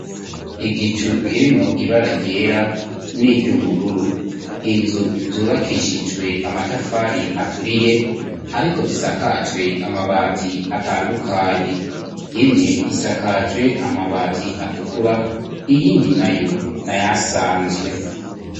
Igicu kirimwo ibara ryera n'iry'ubururu inzu zubakishijwe amatafari aturiye ariko zisakajwe amabati atandukanye imwe isakajwe amabati atukura iyindi nayo n'ayasanzwe.